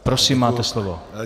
Prosím, máte slovo.